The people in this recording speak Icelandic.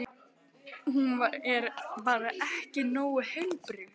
Hún er bara ekki nógu heilbrigð.